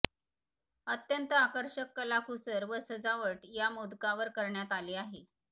अत्यंत आकर्षक कलाकुसर व सजावट या मोदकावर करण्यात आली आहे